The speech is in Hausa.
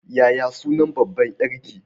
Yaya sunan babbar ƴarki?